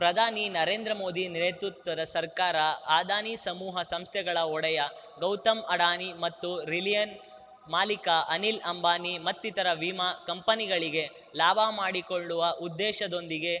ಪ್ರಧಾನಿ ನರೇಂದ್ರ ಮೋದಿ ನೇತೃತ್ವದ ಸರ್ಕಾರ ಅದಾನಿ ಸಮೂಹ ಸಂಸ್ಥೆಗಳ ಒಡೆಯ ಗೌತಮ್‌ ಅಡಾನಿ ಮತ್ತು ರಿಲಯನ್ ಮಾಲೀಕ ಅನಿಲ್‌ ಅಂಬಾನಿ ಮತ್ತಿತರ ವಿಮಾ ಕಂಪನಿಗಳಿಗೆ ಲಾಭ ಮಾಡಿಕೊಳ್ಳುವ ಉದ್ದೇಶದೊಂದಿಗೆ